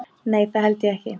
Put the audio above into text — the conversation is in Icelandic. Nei það held ég ekki.